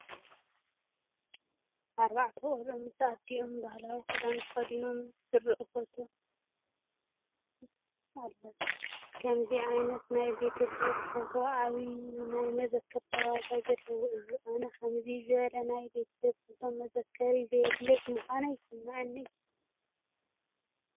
ኣርባዕተ ቆልዑ ምስ ኣዲኦም ባህላዊ ክዳን ተኸዲኖም ዘርኢ ፎቶ ኣሎ፡፡ ከምዚ ዓይነት ናይ ቤተ ሰብ ፎቶ ዓብዪ ናይ መዘክርነት ዋጋ ዘለዎ እዩ፡፡ ኣነ ከምዚ ዝበለ ናይ ቤተሰብ ፎቶ መዘክር ዘይብለይ ብምዃኑ ይስምዐኒ እዩ፡፡